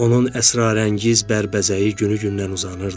Onun əsrarəngiz bərbəzəyi günü-gündən uzanırdı.